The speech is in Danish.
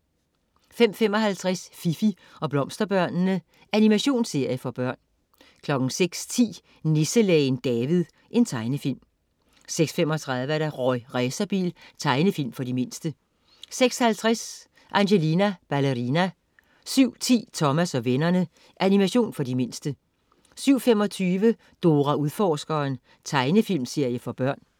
05.55 Fifi og Blomsterbørnene. Animationsserie for børn 06.10 Nisselægen David. Tegnefilm 06.35 Rorri Racerbil. Tegnefilm for de mindste 06.50 Angelina Ballerina 07.10 Thomas og vennerne. Animation for de mindste 07.25 Dora Udforskeren. Tegnefilmserie for børn